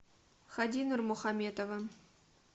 хади нурмухаметовым